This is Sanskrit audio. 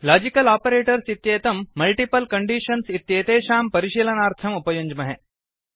लाजिकल् आपरेटर्स् इत्येतं मल्टिपल् कण्डीषन्स् इत्येतेषां परिशीलनार्थम् उपयुञ्ज्महे